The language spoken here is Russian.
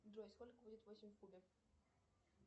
джой сколько будет восемь в кубе